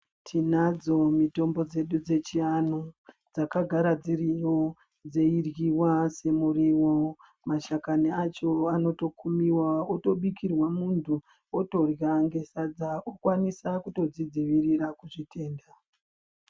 Tiinadzo mitombo dzedu dzechianhu, dzakagara dziriyo ,dzeiryiwa semiriwo. Mashakani acho anotokumiwa otobikirwa munthu otorya nesadza okwanisa kutozvidziirira kuzvitenda.